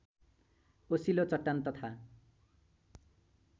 ओसिलो चट्टान तथा